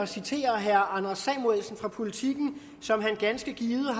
citere herre anders samuelsen fra politiken som han ganske givet har